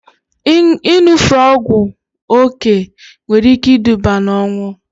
Ịṅụfe ọgwụ oké nwere ike iduba na ọnwụ